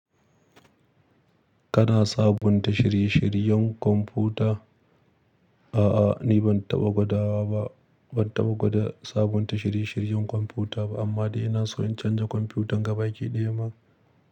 Kana sabunta shirye-shiryen kwamfuta? A'a, ni ban taɓa gwada sabunta shirye-shiryen kwamfuta ba amma ina so in canza kwamfutan gabaɗaya ma.